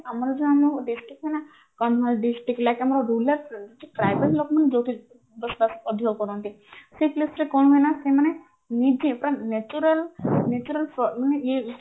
ଆମର ଯୋଉ ଆମ district ରୁ ନା like ଆମ rural tribal ଲୋକମାନେ ଯୋଉଠି ଅଧିକ କରନ୍ତି ସେଇ place ରେ କଣ ହୁଏନା ସେମାନେ ନିଜେ ପୁରା nature natural ମାନେ ଇଏ